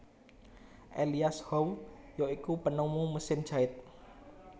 Elias Howe ya iku penemu mesin jait